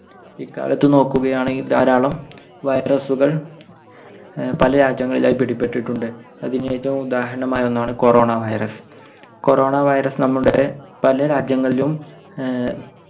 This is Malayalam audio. ഇക്കാലത്ത് നോക്കുകയാണെങ്കിൽ ധാരാളം virus കൾ ഏർ പല രാജ്യങ്ങളിലായി പിടിപെട്ടിട്ടുണ്ട്. അതിന് ഏറ്റവും ഉദാഹരണമായ ഒന്നാണ് corona virus. Corona virus നമ്മുടെ പല രാജ്യങ്ങളിലും ഏർ